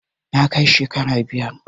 na kai shekara biyar